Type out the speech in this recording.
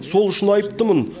сол үшін айыптымын